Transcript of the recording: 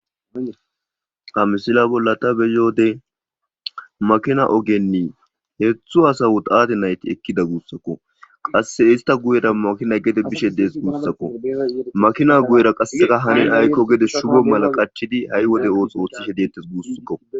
Hamsila bolla ta beyoode makina ogenni heethu asawutaate nayti ekkida guussakko qasse ista guyera makina gede bishe dees guussakko makina guyera qasseka hanin aykko gede shugo mala qaachidi ha'i wode oox ooththi hediettes guussakko